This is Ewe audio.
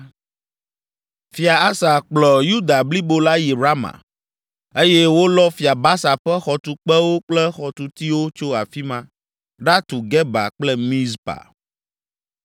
Fia Asa kplɔ Yuda blibo la yi Rama eye wolɔ Fia Baasa ƒe xɔtukpewo kple xɔtutiwo tso afi ma ɖatu Geba kple Mizpa.